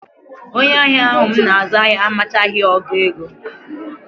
Onye ahịa ahụ m na-azụ ahịa amachaghị ọgụ ego